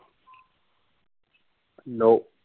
no